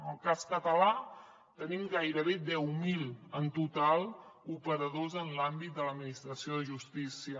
al cas català tenim gairebé deu mil en total operadors en l’àmbit de l’administració de justícia